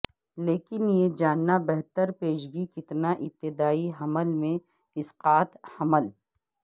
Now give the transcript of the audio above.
لیکن یہ جاننا بہتر پیشگی کتنا ابتدائی حمل میں اسقاط حمل